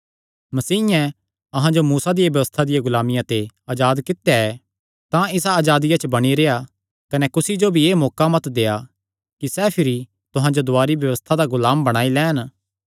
मसीयें अहां जो मूसा दिया व्यबस्था दिया गुलामिया ते अजाद कित्या ऐ तां इसा अजादिया च बणी रेह्आ कने कुसी जो भी एह़ मौका मत देआ कि सैह़ भिरी तुहां जो दुवारी व्यबस्था दा गुलाम बणाई लैन